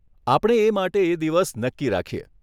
આપણે એ માટે એ દિવસ નક્કી રાખીએ.